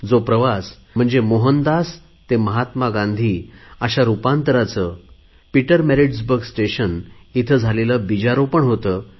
जो प्रवास म्हणजे मोहनदास ते महात्मा गांधी अशा रुपांतराचे बीजारोपण होते